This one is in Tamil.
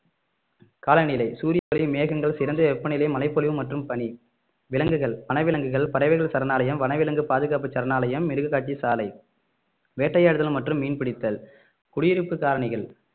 காலநிலை சூரிய ஒளி மேகங்கள் சிறந்த வெப்பநிலை மழைப்பொழிவு மற்றும் பனி விலங்குகள் வனவிலங்குகள் பறவைகள் சரணாலயம் வனவிலங்கு பாதுகாப்பு சரணாலயம் மிருக காட்சி சாலை வேட்டையாடுதல் மற்றும் மீன் பிடித்தல் குடியிருப்பு காரணிகள்